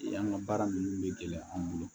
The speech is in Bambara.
An ka baara ninnu bɛ gɛlɛya an bolo